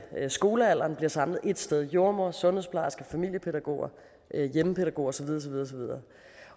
skolealderen bliver samlet ét sted det er jordemoder sundhedsplejerske familiepædagoger hjemmepædagoger og så videre